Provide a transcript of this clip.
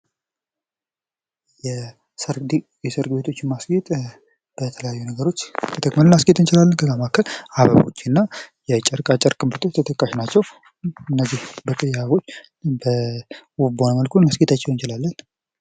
የሰርግ ቤቶችን የማስጌጥ በተለያዩ ነገሮች ተጠቅመን ማስጌጥ እንችላለን ከነዛ መካከል አበቦች የጨርቃ ጨርቅ ምርቶች ተጠቃሽ ናቸው። በተለየ መልኩ በውብ በሆነ መልኩ ልናስጌጣቸው እንችላለን።